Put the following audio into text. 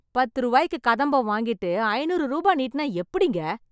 பத்து ரூவாய்க்கு கதம்பம் வாங்கிட்டு ஐநூறு ரூபா நீட்டினா எப்படிங்க?